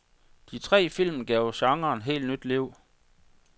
De tre film gav genren helt nyt liv.